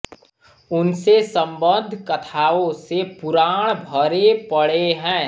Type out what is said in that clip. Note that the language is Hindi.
उनसे सम्बद्ध कथाओं से पुराण भरे पड़े हैं